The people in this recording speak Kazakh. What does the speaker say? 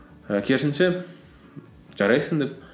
і керісінше жарайсың деп